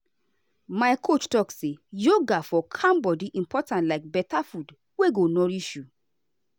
my coach talk say yoga for calm body important like better food wey go nourish you.